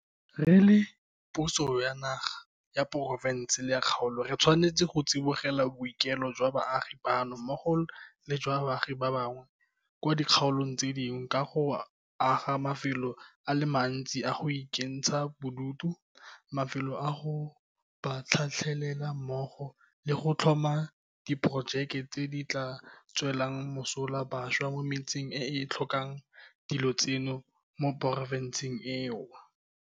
Re le puso ya naga, ya porofense le ya kgaolo re tshwanetse go tsibogela boikuelo jwa baagi bano mmogo le jwa baagi ba bangwe kwa dikgaolong tse dingwe ka go aga mafelo a le mantsi a go ikentsha bodutu, mafelo a go ba tlhatlhelela mmogo le go tlhoma diporojeke tse di tla tswelang mosola bašwa mo metseng e e tlhokang dilo tseno mo porofenseng eo.